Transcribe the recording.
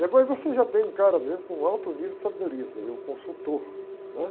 Depois você já tem um cara, por exemplo, com alto nível de sabedoria, seria o consultor, né?